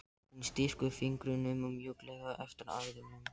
Hún strýkur fingrunum mjúklega eftir æðunum.